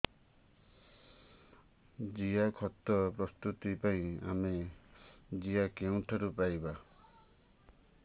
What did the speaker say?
ଜିଆଖତ ପ୍ରସ୍ତୁତ ପାଇଁ ଆମେ ଜିଆ କେଉଁଠାରୁ ପାଈବା